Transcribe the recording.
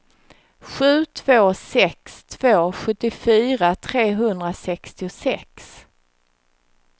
sju två sex två sjuttiofyra trehundrasextiosex